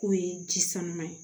K'o ye ji sanuman ye